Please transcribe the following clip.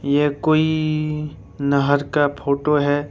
ये कोई नहर का फोटो है।